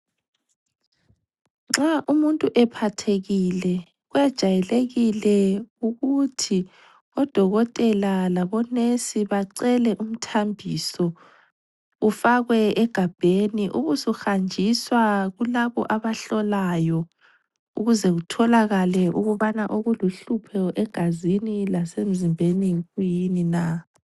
Nxa umuntu ephathekile kwejayelekile ukuthi odokotela labonesi bacele umthambiso ufakwe egabheni ubusuhanjiswa kulabo abahlolayo ukuze kutholakale ukubana okuluhlupho egazini lasemzimbeni yikuyini na.